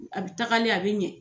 A bɛ tagalen a bɛ ɲɛ